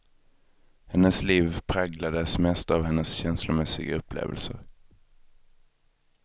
Hennes liv präglades mest av hennes känslomässiga upplevelser.